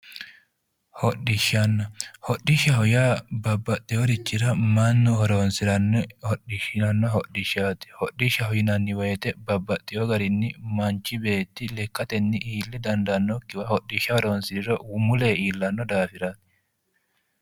Hodhishshanna. Hodhishshaho yaa babbaxxiworichira mannu horoonsiranno hodhishshaanno hodhishshaati. Hodhishshaho yinanni woyite babbaxxiwo garinni manchi beetti lekkatenni iille dandaannokkiwa hodhishsha horoonsiriro muleyi iillanno daafiraati.